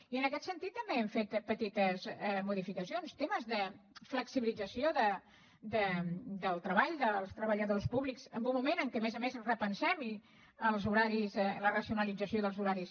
i en aquest sentit també hem fet petites modificacions temes de flexibilització del treball dels treballadors públics en un moment en què a més a més repensem la racionalització dels horaris